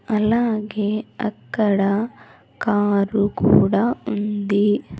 అలాగే అక్కడ కారు కూడా ఉంది.